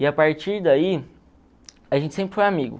E a partir daí, a gente sempre foi amigo.